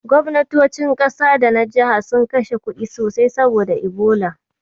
Gobnatocin ƙasa da na jiha sun kashe kuɗi sosai saboda Ebola.